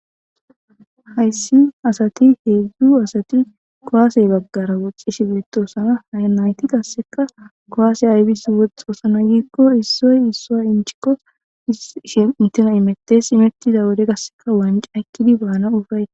Haysi asati hezhu asati kuwase bagara woxishe betosona. Hayti qaseka kuwasse aybis woxizo giikon issoy issuwa xooniko woytoy immetees. Immetida wode qasseka wanc'a ekidi banaw woxetes.